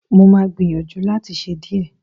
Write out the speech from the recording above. Mo máa gbìyànjú láti ṣe díẹ̀